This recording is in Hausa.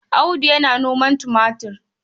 Audu yana noman tumatir.